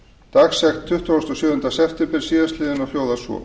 dagsett tuttugasta og sjöunda september síðastliðinn og hljóðar svo